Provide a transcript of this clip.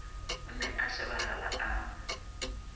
o ne a shebahala a